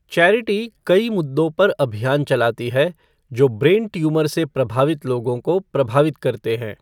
Charity कई मुद्दों पर अभियान चलाती है जो ब्रेन ट्यूमर से प्रभावित लोगों को प्रभावित करते हैं।